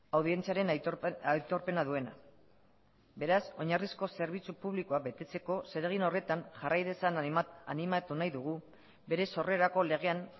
audientziaren aitorpena duena beraz oinarrizko zerbitzu publikoa betetzeko zeregin horretan jarrai dezan animatu nahi dugu bere sorrerako legean